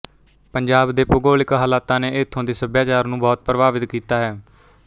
ਪੰਜਾਬ ਦੇ ਭੂਗੋਲਿਕ ਹਾਲਤਾਂ ਨੇ ਇੱਥੋਂ ਦੇ ਸੱਭਿਆਚਾਰ ਨੂੰ ਬਹੁਤ ਪ੍ਭਾਵਿਤ ਕੀਤਾ ਹੈ